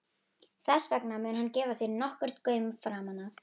Þess vegna mun hann gefa þér nokkurn gaum framan af.